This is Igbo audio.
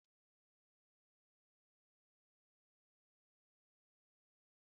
Ịkwesịrị ịsị Nụ́dúls tupu ị gbakwunye ngwa nri